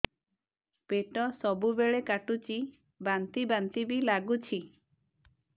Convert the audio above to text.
ପେଟ ସବୁବେଳେ କାଟୁଚି ବାନ୍ତି ବାନ୍ତି ବି ଲାଗୁଛି